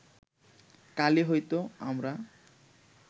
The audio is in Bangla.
কালই হয়তো আমরা